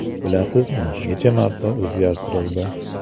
Bilasizmi, necha marta o‘zgartirildi?